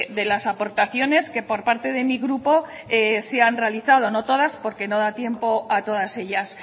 de las aportaciones que por parte de mi grupo se han realizado no todas porque no da tiempo a todas ellas